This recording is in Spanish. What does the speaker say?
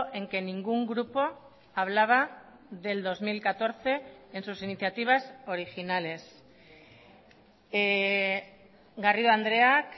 en que ningún grupo hablaba del dos mil catorce en sus iniciativas originales garrido andreak